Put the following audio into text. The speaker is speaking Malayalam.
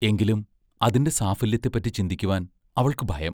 എങ്കിലും, അതിന്റെ സാഫല്യത്തെപ്പറ്റി ചിന്തിക്കുവാൻ അവൾക്കു ഭയം